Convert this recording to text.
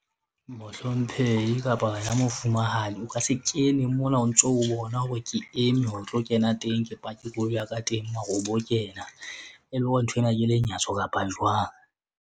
Mohlomphehi kapa wena Mofumahadi o ka se kene mona o ntso o bona hore ke eme ho tlo kena teng, ke pake koloi ya ka teng. Mara o bo kena, e le hore, nthwena ke lenyatso kapa jwang?